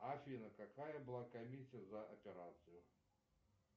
афина какая была комиссия за операцию